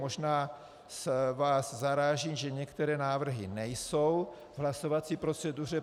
Možná vás zaráží, že některé návrhy nejsou v hlasovací proceduře.